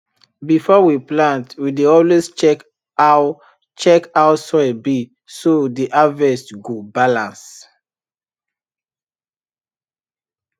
before we plant we dey always check how check how soil be so the harvest go balance